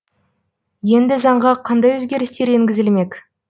енді заңға қандай өзгерістер енгізілмек